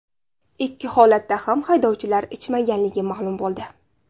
Ikki holatda ham haydovchilar ichmaganligi ma’lum bo‘ldi.